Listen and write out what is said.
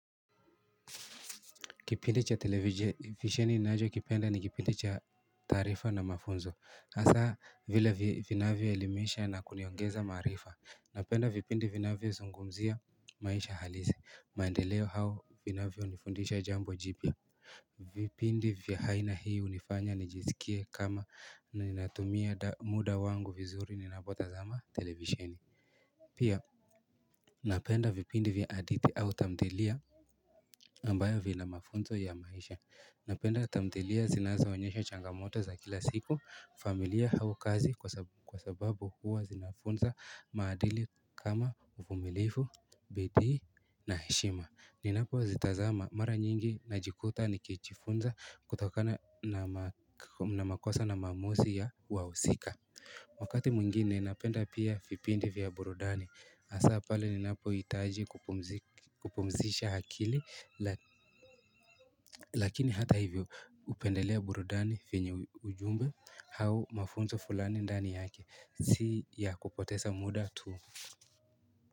Kipindi cha televisheni ninacho kipenda ni kipindi cha taarifa na mafunzo hasa vile vinavyo elimisha na kuniongeza maarifa. Napenda vipindi vinavyo zungumzia maisha halisi maendeleo au vinavyo nifundisha jambo jipya vipindi vya aina hii hunifanya nijiskie kama natumia muda wangu vizuri ninapotazama televisheni pia napenda vipindi vya hadithi au tamthilia ambayo vina mafunzo ya maisha. Napenda tamthilia zinazo onyesha changamoto za kila siku, familia hau kazi kwa sababu huwa zinafunza maadili kama uvumilifu, bidii na heshima. Ninapozitazama mara nyingi najikuta nikijifunza kutokana na na makosa na maamuzi ya wahusika. Wakati mwingine napenda pia vipindi vya burudani hasa pale ninapohitaji kupumzisha akili lakini hata hivyo hupendelea burudani venye ujumbe au mafunzo fulani ndani yake si ya kupoteza muda tu.